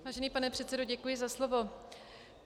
Vážený pane předsedo, děkuji za slovo.